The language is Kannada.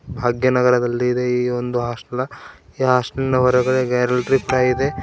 ಭಾಗ್ಯನಗರದಲ್ಲಿದೆ ಈ ಒಂದು ಹಾಸ್ಟಲ ಈ ಹಾಸ್ಟೆಲಿನ ಹೊರಗೆ ಎರಡು .]